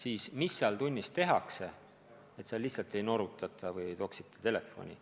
Ja nendes tundides lihtsalt ei norutata ega toksita telefoni.